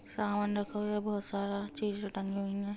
सामान रखा हुआ है बहुत सारा चीज़े टंगी हुई हैं।